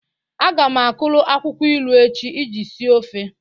Aga m akuru akwụkwọ ilu echi iji sie ofe.